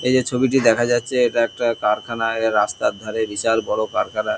এই যে ছবিটি দেখা যাচ্ছে এটা একটা কারখানা এর রাস্তার ধারে বিশাল বড়ো কারখানা।